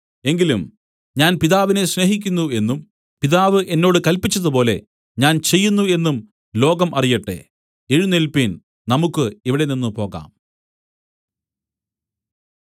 എങ്കിലും ഞാൻ പിതാവിനെ സ്നേഹിക്കുന്നു എന്നും പിതാവ് എന്നോട് കല്പിച്ചതുപോലെ ഞാൻ ചെയ്യുന്നു എന്നും ലോകം അറിയട്ടെ എഴുന്നേല്പിൻ നമുക്ക് ഇവിടെനിന്ന് പോകാം